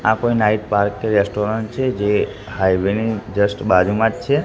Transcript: આ કોઈ night bar કે રેસ્ટોરન્ટ છે જે હાઇવે ની જસ્ટ બાજુમાજ છે.